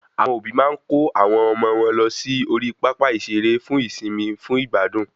Àwọn òbí máa ń kò awọn ọmọ wọn lọ sí orí pápá ìsere fún ìsimi fún ìgbádùn